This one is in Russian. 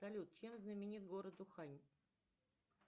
салют чем знаменит город ухань